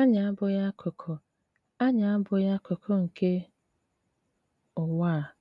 Ànyị àbụ̀ghị̀ akụkụ Ànyị àbụ̀ghị̀ akụkụ nke Ụ̀wà à,